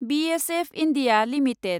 BSF India limited